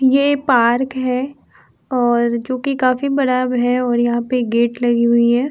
ये पार्क है और जो कि काफी बड़ा अब है और यहाँ पे गेट लगी हुई है।